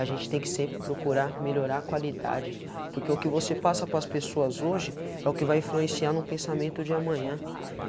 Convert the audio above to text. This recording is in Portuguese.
A gente tem que sempre procurar melhorar a qualidade, porque o que você passa para as pessoas hoje é o que vai influenciar no pensamento de amanhã.